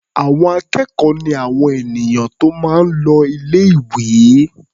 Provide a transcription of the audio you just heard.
Àwọn akẹ́kọ̀ọ́ ni àwọn ènìyàn tó máa ń l o ilé-ìwé.